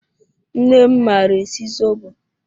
Nne m maara esi zobo